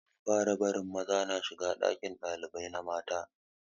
Za a fara barin maza na shiga ɗakin ɗalibai na mata